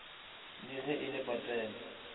le ge e le patela